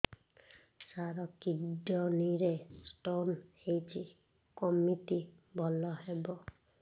ସାର kidney ରେ stone ହେଇଛି କମିତି ଭଲ ହେବ